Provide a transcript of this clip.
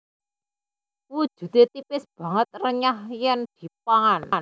Wujude tipis banget renyah yen dipangan